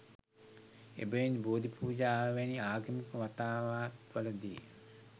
එබැවින් බෝධි පූජාව වැනි ආගමික වතාවත්වලදී